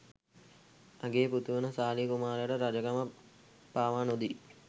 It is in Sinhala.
අගේ පුතු වන සාලිය කුමාරයට රජකම පවා නොදී